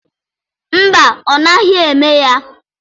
Mba, ọ naghị eme ya.